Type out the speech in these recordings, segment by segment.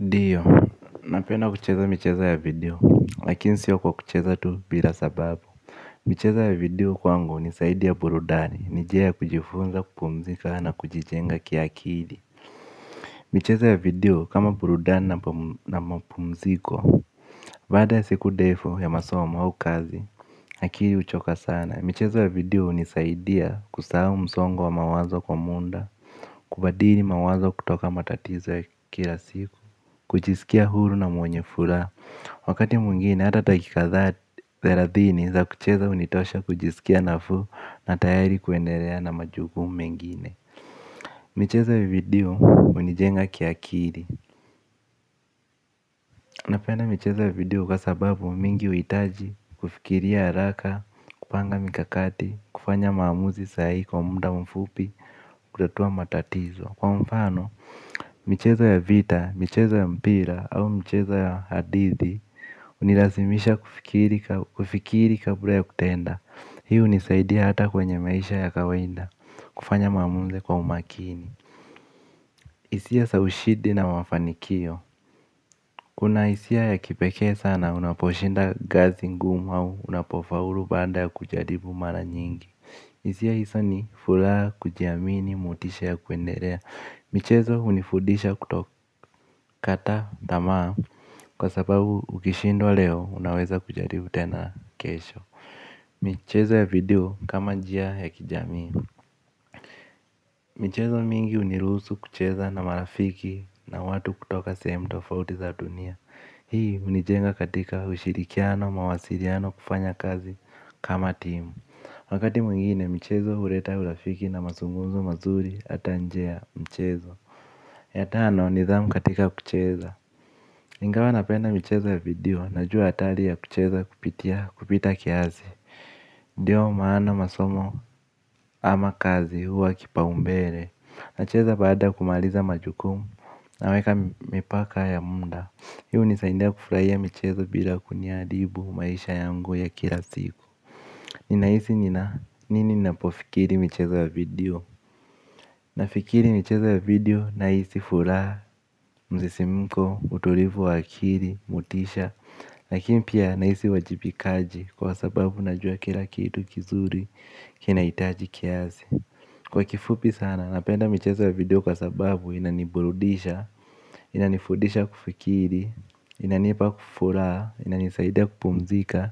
Ndiyo, napenda kucheza michezo ya video, lakini sio kwa kucheza tu bila sababu michezo ya video kwangu ni zaidi ya burudani, ni njia ya kujifunza kupumzika na kujijenga kiakili. Michezo ya video kama burudani na mapumziko. Baada ya siku ndefu ya masomu au kazi, akili huchoka sana michezo ya video hunisaidia kusahau msongo wa mawazo kwa muda. Kubadili mawazo kutoka matatizo ya kila siku. Kujiskia huru na mwenye furaha. Wakati mwingine hata dakika ka thelathini za kucheza hunitosha kujisikia nafuu na tayari kuendelea na majukumu mengine. Michezo ya video hunijenga kiakili. Napenda micheza ya video kwa sababu mingi huhitaji kufikiria haraka, kupanga mikakati, kufanya maamuzi sahihi kwa muda mfupi, kutatua matatizo. Kwa mfano, michezo ya vita, michezo ya mpira au michezo ya hadithi. Hunilazimisha kufikiri kabla ya kutenda. Hii hunisaidi hata kwenye maisha ya kawaida. Kufanya maamuzi kwa umakini. Hisia za ushindi na mafanikio. Kuna hisia ya kipekee sana unaposhinda kazi ngumu au unapofaulu baada ya kujaribu mara nyingi. Hisia hizo ni furaha kujiamini motisha ya kuendelea. Michezo hunifudisha kutokata tamaa. Kwa sababu ukishindwa leo unaweza kujaribu tena kesho. Michezo ya video kama njia ya kijamii. Michezo mingi hunirusu kucheza na marafiki na watu kutoka sehemu tofauti za dunia. Hii hunijenga katika ushirikiano mawasiliano kufanya kazi kama timu. Wakati mwingine michezo huleta urafiki na mazungumzo mazuri hata nje ya mchezo. Ya tano nidhamu katika kucheza. Ingawa napenda michezo ya video najua hatari ya kucheza kupita kiasi. Ndiyo maana masomo ama kazi huwa kipa umbele. Nacheza baada ya kumaliza majukumu naweka mipaka ya muda. Hiu hunisaidia kufurahia mchezo bila kuniadibu maisha yangu ya kila siku. Ninahisi nina nini ninapofikiri michezo ya video. Nafikiri michezo ya video nahisi furaha msisimko utulivu wa akili motisha. Lakini pia nahisi uwajibikaji kwa sababu najua kila kitu kizuri kinahitaji kiasi. Kwa kifupi sana napenda michezo ya video kwa sababu inaniburudisha, inanifudisha kufikiri, inanipa furaha, inanisaidia kupumzika,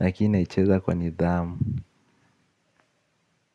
lakini naicheza kwa nidhamu.